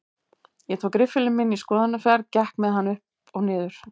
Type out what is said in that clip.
Ég tók riffilinn minn í skoðunarferð, gekk með hann upp og nið